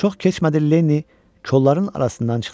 Çox keçmədi, Lenni kolların arasından çıxdı.